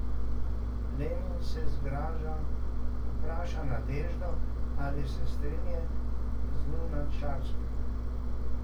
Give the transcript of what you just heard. Lenin se zgraža, vpraša Nadeždo, ali se strinja z Lunačarskim.